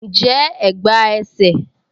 Njẹ́ ẹ̀gbá ẹsẹ̀?